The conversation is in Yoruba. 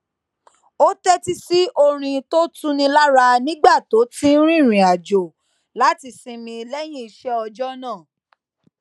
ó tétí sí orin tó ń tuni lára nígbà tó ń rìnrìnàjò láti sinmi léyìn iṣé ọjó náà